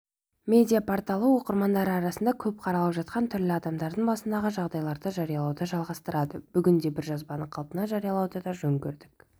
медиа-порталы оқырмандар арасында көп қаралып жатқан түрлі адамдардың басындағы жағдайларды жариялауды жалғастырады бүгін де бір жазбаны қалпында жариялауды жөн көрдік